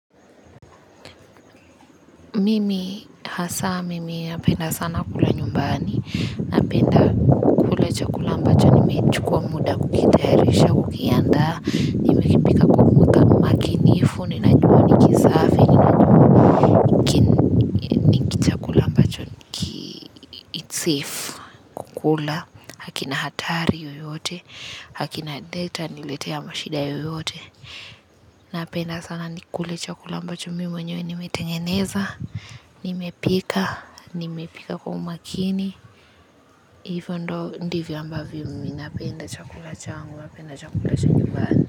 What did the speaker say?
Mimi hasa mimi napenda sana kula nyumbani, napenda kula chakula ambacho nimechukua muda kukitayarisha kukiandaa, nimekipika kwa umakinifu ninajua ni kisafi, ni hiki chakula ambacho its safe kukula, hakina hatari yoyote, hakina data itaniletea mashida yoyote, napenda sana nikule chakula ambacho mimi mwenyewe nimetengeneza, nimepika, nimepika kwa umakini, hivo ndio ndivyo ambavyo mimi napenda chakula changu napenda chakula cha nyumbani.